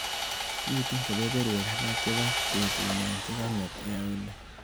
Miite kebeberwek alak chebo betunyu chekang'et eh Olly.